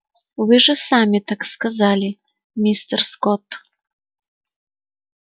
вы же сами так сказали мистер скотт